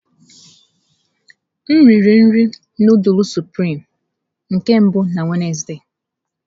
M riri nri nudulu sụprịme nke mbụ na Wednesde.